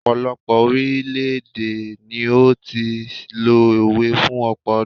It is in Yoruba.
ọpọlọpọ orilẹ ede ni o ti n lo òwe fún ọpọ ọdún